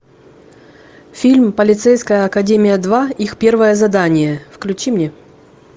фильм полицейская академия два их первое задание включи мне